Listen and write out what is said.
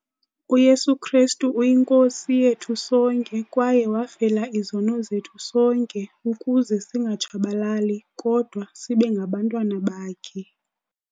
uYesu Kristu yiNkosi yethu sonke kwaye wafela izono zethu sonke ukuze singatshabalali kodwa sibengabantwana bakhe.